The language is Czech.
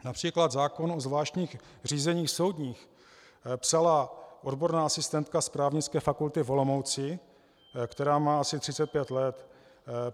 Například zákon o zvláštních řízeních soudních psala odborná asistentka z Právnické fakulty v Olomouci, která má asi 35 let.